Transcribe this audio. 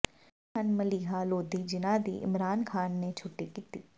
ਕੌਣ ਹਨ ਮਲੀਹਾ ਲੋਧੀ ਜਿਨ੍ਹਾਂ ਦੀ ਇਮਰਾਨ ਖ਼ਾਨ ਨੇ ਛੁੱਟੀ ਕੀਤੀ